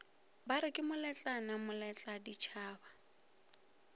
bare ke moletlane moletla ditšhaba